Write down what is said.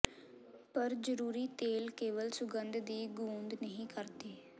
ਪਰ ਜ਼ਰੂਰੀ ਤੇਲ ਕੇਵਲ ਸੁਗੰਧ ਦੀ ਗੂੰਦ ਨਹੀਂ ਕਰਦੇ